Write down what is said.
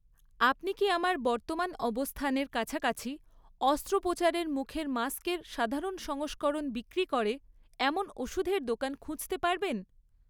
আপনি কি আমার বর্তমান অবস্থানের কাছাকাছি অস্ত্রোপচারের মুখের মাস্কের সাধারণ সংস্করণ বিক্রি করে এমন ওষুধের দোকান খুঁজতে পারবেন?